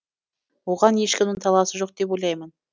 оған ешкімнің таласы жоқ деп ойлаймын